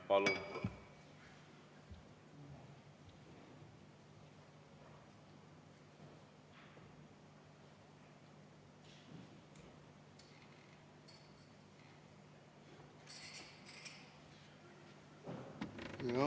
Palun!